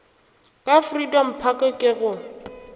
ka freedom park ke go